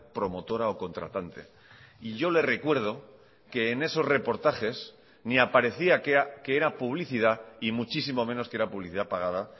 promotora o contratante y yo le recuerdo que en esos reportajes ni aparecía qué era publicidad y muchísimo menos qué era publicidad pagada